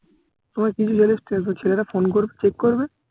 তোমায় কিছু ছেলে ছেলেরা phone করবে check করবে